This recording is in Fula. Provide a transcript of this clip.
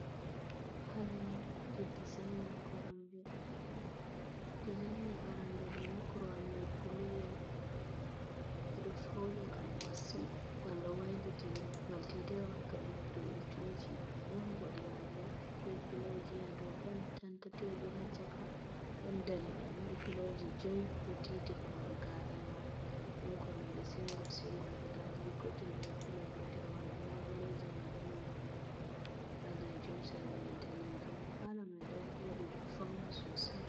Palo made dizaining arande do ni korwal mai bluwol bedo fauni gallo wailitin gal ttwralttiji don bodewal bo be pilojiya do don tanta teburacaka don daniwal mar piloji 5oi do titi korowal gn1 don korombia singul singul gudadir gotel be pilo gotel wala laboleji mai borde majum ballejum sira mai danejul palo mai don bodi do fauni sosai.